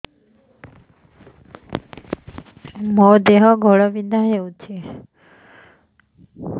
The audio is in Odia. ମୋ ଦେହ ଘୋଳାବିନ୍ଧା ହେଉଛି